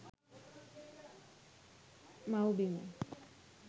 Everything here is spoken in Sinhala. mawbima